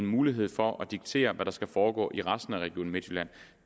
mulighed for at diktere hvad der skal foregå i resten af region midtjylland